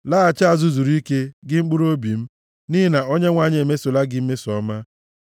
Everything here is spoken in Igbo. Laghachi azụ zuru ike, gị mkpụrụobi m, nʼihi na Onyenwe anyị emesola gị mmeso ọma.